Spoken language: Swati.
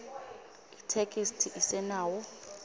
itheksthi isenawo